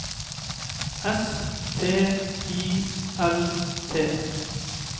S T I L T